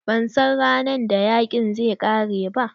Ba san ran da yaƙin zai ƙare ba.